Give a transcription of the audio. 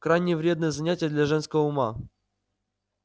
крайне вредное занятие для женского ума